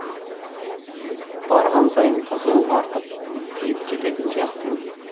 барған сайын қызуым артып күйіп кететін сияқтымын